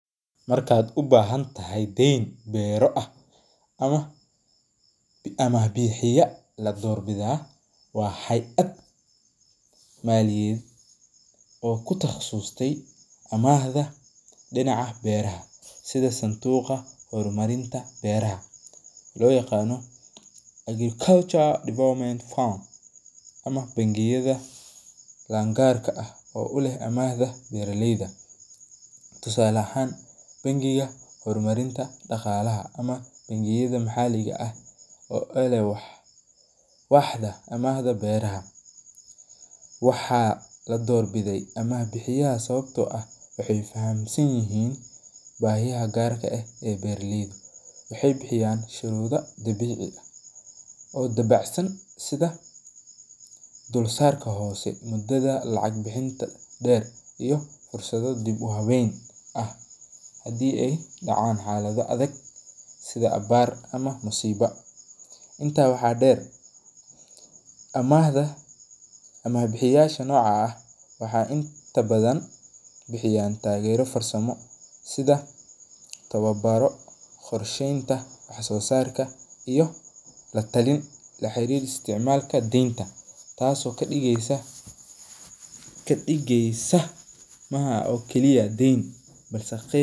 Marka u bahantahay den bero ah ama bixiya la dor bixiya waxee aad maliye oo ku taqasuste horahda maliyaada beeraha sitha santuqa hormarinta beeraha lo yaqana agriculture development fund ama bangiyaada lan gar ka ah oo u leh amahda bera leyda, tusale ahan bangiga daqale hor marin daqalaha ama bangiyaada maxaliga eh oo waxda amahda beeraha waxaa lador bide ama bixiyaha, waxee bixiyan sharuda dabici ah oo dabacsan oo mudadha lacag bixinta der oo wawen ah hadii ee dacan xalaada adag sithada abar ama musiba, intas waxaa deer ama bixiyasha waxaa inta badan bixiyan tagero farsame sitha qorshenta wax so sarka iyo la talinta dental tas oo kadigeysa maaha kali ah den balse ah.